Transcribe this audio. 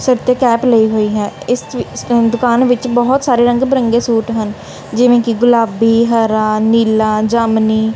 ਸਿਰ ਤੇ ਕੈਪ ਲਈ ਹੋਈ ਹੈ। ਇਸ ਵਿ ਦੁਕਾਨ ਵਿੱਚ ਬਹੁਤ ਸਾਰੇ ਰੰਗ ਬਿਰੰਗੇ ਸੂਟ ਹਨ ਜਿਵੇਂ ਕਿ ਗੁਲਾਬੀ ਹਰਾ ਨੀਲਾ ਜਾਮਨੀ।